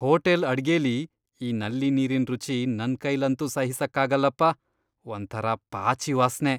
Hotel ಅಡ್ಗೆಲಿ ಈ ನಲ್ಲಿ ನೀರಿನ್ ರುಚಿ ನನ್ಕೈಲಂತೂ ಸಹಿಸಕ್ಕಾಗಲ್ಲಪ, ಒಂಥರ ಪಾಚಿ ವಾಸ್ನೆ.